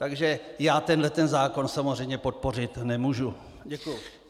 Takže já tenhle zákon samozřejmě podpořit nemůžu.